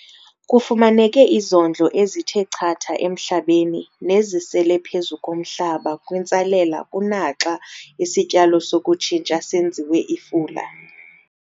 Kufumaneke izondlo ezithe chatha emhlabeni nezisele phezu komhlaba kwintsalela kunaxa isityalo sokutshintsha senziwe ifula.